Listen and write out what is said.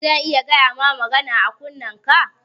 Zan iya gayama magana a kunnenka?